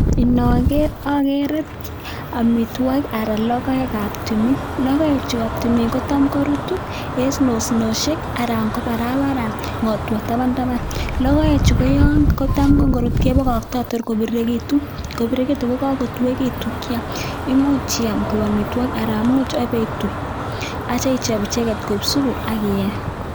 Inoker akere amitwogik anan logoek ab tumin, logoek chu kotam korutu en osnosiek anan ko barabara ng'otwa tabantaban. Logoechu yon korut kotam kebokokto tor kobirirekitun ako yon kobirirekitun anan kotuekitun kyam anan imuch ibetui kochop supu akiyee.